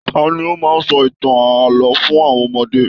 Tani o máa n sọ ìtàn ààlọ́ fún àwọn ọmọdé?